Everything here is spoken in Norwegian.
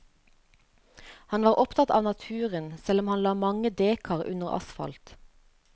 Han var opptatt av naturen, selv om han la mange dekar under asfalt.